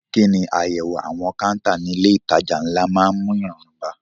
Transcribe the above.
Kí ni àyẹ̀wò àwọn káńtà ní ilé ìtajà ńlá máa ń mú ìrọ̀rùn bá?